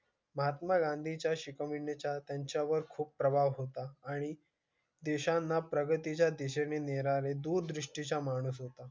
महात्मा गांधी च्या शिकविण्या चा त्यांच्या वर खूप प्रभाव होता आणि देशांना प्रगती च्या दिशेने निराळे दूरदृष्टी चा माणूस होता.